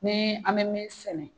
Ni an bɛ min sɛnɛ